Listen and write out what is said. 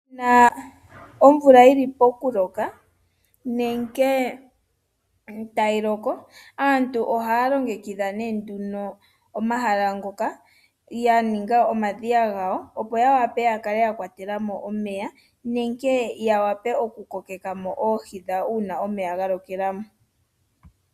Uuna omvula yi li pokuloka nenge tayi loko aantu ohaya longekidha omahala ngoka ya ninga omadhiya gawo opo ya wape okukwatela mo omeya nenge ya wape oku kokeka mo oohi dhawo uuna omeya ga lokelwa mo.